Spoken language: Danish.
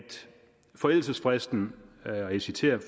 forældelsesfristen og jeg citerer